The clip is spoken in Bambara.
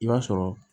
I b'a sɔrɔ